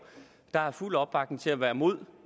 der er fuld opbakning til at være imod